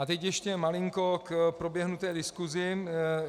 A teď ještě malinko k proběhnuté diskusi.